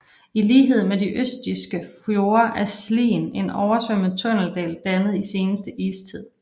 I lighed med de østjyske fjorde er Slien en oversvømmet tunneldal dannet i seneste istid